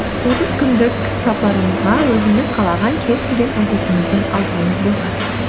отыз күндік сапарымызға өзіңіз қалаған кез келген әдетіңізді алсаңыз болады